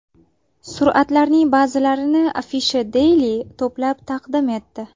Suratlarning ba’zilarini Afisha Daily to‘plab taqdim etdi .